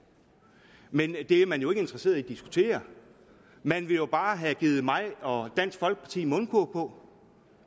men det er man jo ikke interesseret i at diskutere man vil jo bare have givet mig og dansk folkeparti mundkurv på